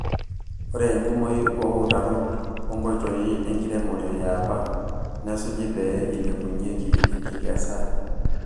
Ore enkumoi oo utarot onkoitoi enkiremore yaapa nesuji pee eilepunyieki enkikesae.